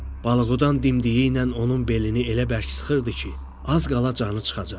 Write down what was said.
Balıqudan dimdiyi ilə onun belini elə bərk sıxırdı ki, az qala canı çıxacaqdı.